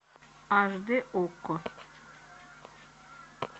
аш дэ окко